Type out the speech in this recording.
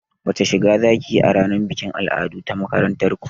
Wace shiga zakiyi a ranar bikin al'adu ta makarantar ku?